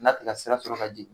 N'a ti ka sira sɔrɔ ka jigin